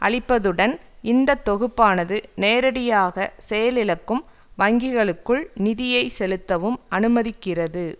அளிப்பதுடன் இந்த தொகுப்பானது நேரடியாக செயலிழக்கும் வங்கிகளுக்குள் நிதியை செலுத்தவும் அனுமதிக்கிறது